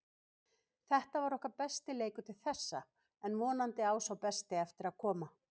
Þetta var okkar besti leikur til þessa en vonandi á sá besti eftir að koma.